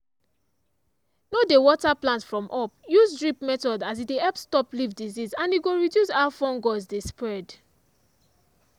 no dey water plant from up; use drip method as e dey help stop leaf disease and e go reduce how fungus dey spread.